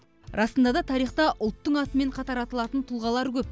расында да тарихта ұлттың атымен қатар аталатын тұлғалар көп